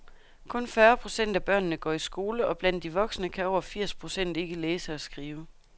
Kun fyrre procent af børnene går i skole og blandt de voksne kan over firs procent ikke læse og skrive.